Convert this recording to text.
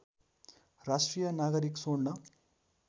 राष्ट्रिय नागरिक स्वर्ण